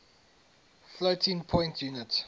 floating point unit